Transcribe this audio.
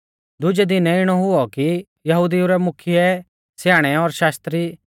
दुजै दिनै इणौ हुऔ कि यहुदिऊ रै मुख्यै स्याणै और शास्त्री